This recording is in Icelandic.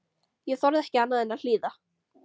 Ég þorði ekki annað en að hlýða.